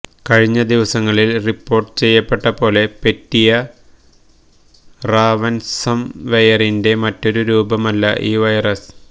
കഴിഞ്ഞ ദിവസങ്ങളില് റിപ്പോര്ട്ട് ചെയ്യപ്പെട്ടപ്പോലെ പെറ്റിയ റാവന്സംവെയറിന്റെ മറ്റൊരു രൂപമല്ല ഈ വൈറസ്